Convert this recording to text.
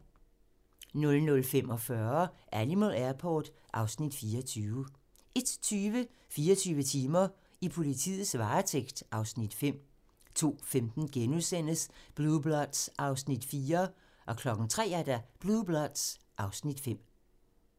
00:45: Animal Airport (Afs. 24) 01:20: 24 timer: I politiets varetægt (Afs. 5) 02:15: Blue Bloods (Afs. 4)* 03:00: Blue Bloods (Afs. 5)